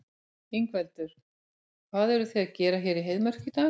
Ingveldur: Hvað eruð þið að gera hér í Heiðmörk í dag?